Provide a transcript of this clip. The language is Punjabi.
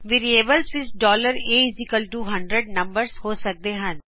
ਵੇਰਿਏਬਲਸ ਵਿੱਚ a100 ਨੰਬਰਸ ਹੋ ਸਕਦੇ ਹਨ